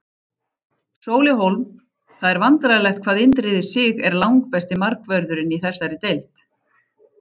Sóli Hólm Það er vandræðalegt hvað Indriði Sig er langbesti miðvörðurinn í þessari deild.